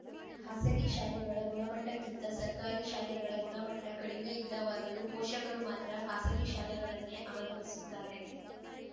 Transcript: ಖಾಸಗಿ ಶಾಲೆಗಳ ಗುಣಮಟ್ಟಕ್ಕಿಂತ ಸರ್ಕಾರಿ ಶಾಲೆಗಳ ಗುಣಮಟ್ಟಕಡಿಮೆ ಇಲ್ಲವಾದರೂ ಪೋಷಕರು ಮಾತ್ರ ಖಾಸಗಿ ಶಾಲೆಗಳನ್ನೇ ಅವಲಂಬಿಸುತ್ತಾರೆ